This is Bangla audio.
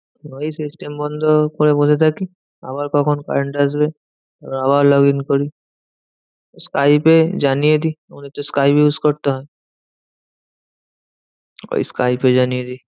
ওই system বন্ধ করে বসে থাকি। আবার কখন current আসবে? আবার log in করি। স্কাইপে জানিয়ে দিই আমাদের তো স্কাইপ use করতে হয়। ওই স্কাইপে জানিয়ে দিই।